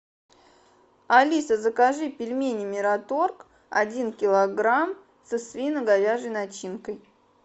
алиса закажи пельмени мираторг один килограмм со свино говяжьей начинкой